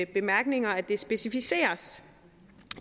bemærkninger specificeres